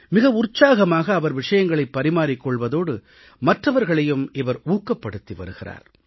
மிக உற்சாகமாக அவர் விஷயங்களைப் பரிமாறிக் கொள்வதோடு மற்றவர்களையும் இவர் ஊக்கப்படுத்தி வருகிறார்